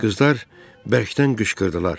Qızlar bərkdən qışqırdılar.